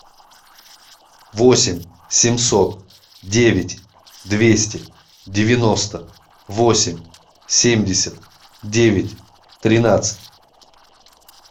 восемь семьсот девять двести девяносто восемь семьдесят девять тринадцать